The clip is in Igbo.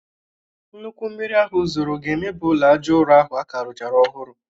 Nnukwu mmiri ahụ zoro ga-emebi ulọ aja ụrọ ahụ a ka rụchara ọhụrụ